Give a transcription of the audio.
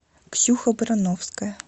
ксюха барановская